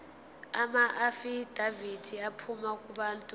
amaafidavithi aphuma kubantu